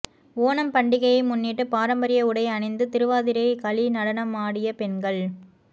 ஓணம் பண்டிகையை முன்னிட்டு பாரம்பரிய உடை அணிந்து திருவாதிரை களி நடனமாடிய பெண்கள்